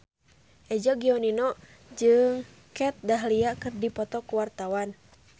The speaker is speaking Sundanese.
Eza Gionino jeung Kat Dahlia keur dipoto ku wartawan